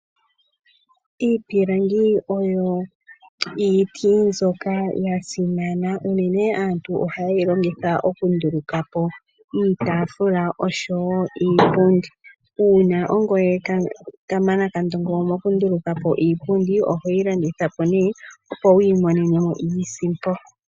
Iipilangi oyo iiti mbyoka ya simana. Unene aantu oha yeyi longitha okunduluka po iitaafula osho wo iipundi. Uuna ongoye kamana kandongo mokunduluka po iipundi ohoyi landitha po nee opo wu imonene mo iisimpo.